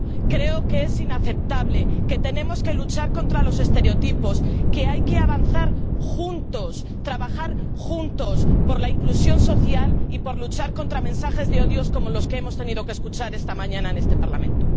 Creo que es inaceptable, que tenemos que luchar contra los estereotipos, que hay que avanzar juntos, trabajar juntos por la inclusión social y luchar contra mensajes de odio como los que hemos tenido que escuchar esta mañana en este Parlamento.